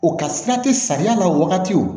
O ka sira te samiya la o wagati o